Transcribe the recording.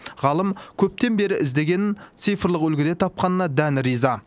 ғалым көптен бері іздегенін цифрлық үлгіде тапқанына дән риза